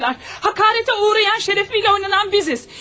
Həqarətə uğrayan, şərəfiylə oynanılan bizik.